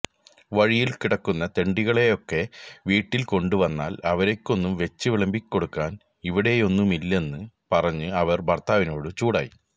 വഴിയില് കിടക്കുന്ന തെണ്ടികളെയൊക്കെ വീട്ടില് കൊണ്ടുവന്നാല് അവര്ക്കൊന്നും വെച്ച് വിളമ്പിക്കൊടുക്കാന് ഇവിടെയൊന്നുമില്ലെന്ന് പറഞ്ഞ് അവര് ഭര്ത്താവിനോട് ചൂടായി